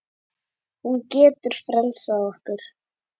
Hún getur frelsað okkur.